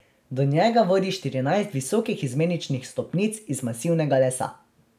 Do njega vodi štirinajst visokih izmeničnih stopnic iz masivnega lesa.